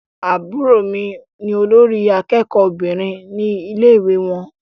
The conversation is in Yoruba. Àbúrò mí ní olórí àkẹ́kọ̀ọ Obìnrin ní ilé ìwé wọn.